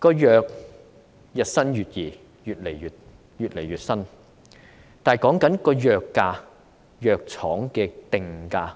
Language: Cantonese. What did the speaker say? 藥物日新月異，我們沒辦法應對藥廠的定價。